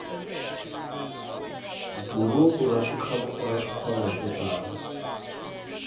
buruku ra swikhwama swo tala